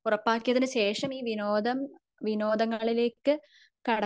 ഉറപ്പാക്കിയതിന് ശേഷം ഈ വിനോദം വിനോദങ്ങളിലേക്ക്